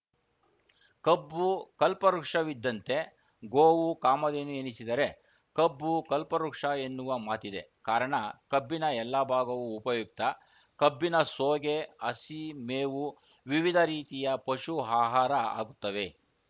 ಕಬ್ಬು ಕಲ್ಪವೃಕ್ಷವಿದ್ದಂತೆ ಗೋವು ಕಾಮಧೇನು ಎನಿಸಿದರೆ ಕಬ್ಬು ಕಲ್ಪವೃಕ್ಷ ಎನ್ನುವ ಮಾತಿದೆ ಕಾರಣ ಕಬ್ಬಿನ ಎಲ್ಲ ಭಾಗವೂ ಉಪಯುಕ್ತ ಕಬ್ಬಿನ ಸೋಗೆ ಹಸಿ ಮೇವು ವಿವಿಧ ರೀತಿಯ ಪಶು ಆಹಾರ ಆಗುತ್ತವೆ